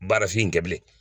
Baarafin in kɛ bilen